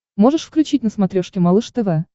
можешь включить на смотрешке малыш тв